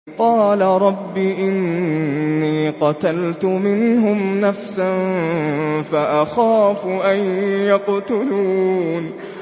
قَالَ رَبِّ إِنِّي قَتَلْتُ مِنْهُمْ نَفْسًا فَأَخَافُ أَن يَقْتُلُونِ